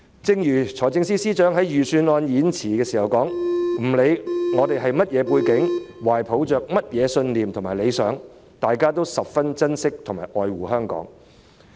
正如財政司司長在預算案演辭中提到，不管市民是甚麼背景、懷抱甚麼信念和理想，大家都十分珍惜和愛護香港。